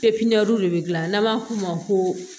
de bɛ gilan n'an b'a f'o ma ko